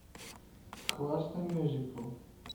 классный мюзикл